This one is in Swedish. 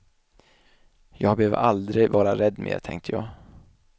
Jag behöver aldrig vara rädd mer, tänkte jag.